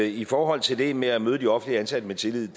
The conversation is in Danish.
i forhold til det med at møde de offentligt ansatte med tillid